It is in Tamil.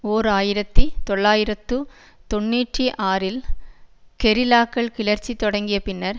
ஓர் ஆயிரத்தி தொள்ளாயிரத்து தொன்னூற்றி ஆறில் கெரில்லாக்கள் கிளர்ச்சி தொடங்கிய பின்னர்